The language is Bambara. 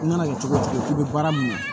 I mana kɛ cogo cogo k'i bɛ baara mun na